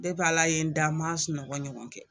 a la ye n da n man sunɔgɔ ɲɔgɔn kɛ!